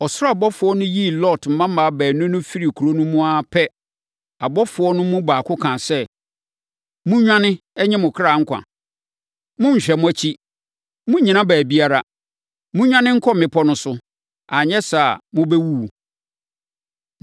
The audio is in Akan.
Ɔsoro abɔfoɔ no yii Lot mmammaa baanu no firii kuro no mu ara pɛ, abɔfoɔ no mu baako kaa sɛ, “Monnwane nnye mo kra nkwa; monnhwɛ mo akyiri. Monnnyina baabiara. Monnwane nkɔ mmepɔ no so, anyɛ saa a, mobɛwuwu!”